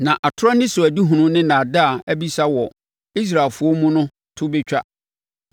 Na atorɔ anisoadehunu ne nnaadaa abisa wɔ Israelfoɔ mu no to bɛtwa.